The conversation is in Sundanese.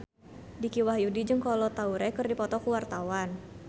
Dicky Wahyudi jeung Kolo Taure keur dipoto ku wartawan